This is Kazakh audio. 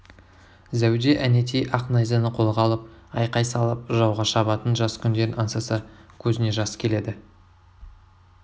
зәуде әнетей ақ найзаны қолға алып айқай салып жауға шабатын жас күндерін аңсаса көзіне жас келеді